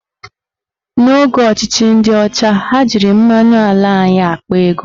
N'oge ọchịchị ndị ọcha, ha jiri mmanụ ala anyị akpa ego